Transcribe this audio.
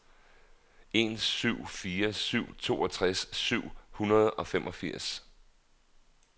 en syv fire syv toogtres syv hundrede og femogfirs